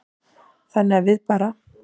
Þannig að við bara.